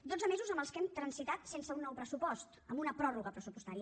dotze mesos en els que hem transitat sense un nou pressupost amb una pròrroga pressupostària